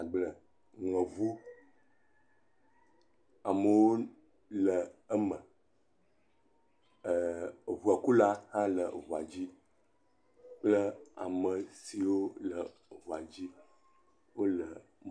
Agble ŋlɔ ɔu, amewo le eme, eŋu kula hã le eŋua dzi kple ame siwo le eŋua dzi la wo le.